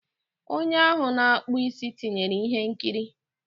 Onye ahụ na-akpụ isi tinyere ihe nkiri.